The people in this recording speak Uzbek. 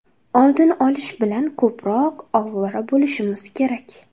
oldini olish bilan ko‘proq ovora bo‘lishimiz kerak.